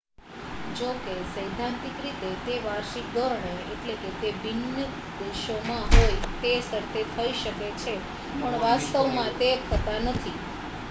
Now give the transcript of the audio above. જો કે સૈદ્ધાંતિક રીતે તે વાર્ષિક ધોરણે તે ભિન્ન દેશોમાં હોય એ શરતે થઈ શકે છે પણ વાસ્તવમાં તે થતાં નથી